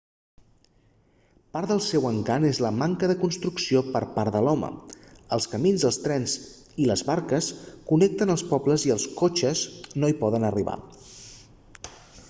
part del seu encant és la manca de la construcció per part de l'home els camins els trens i les barques connecten els pobles i els cotxes no hi poden arribar